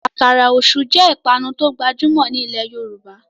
Àkàrà Òṣú jé ipanu to gbajumọ ní ilè yorùbá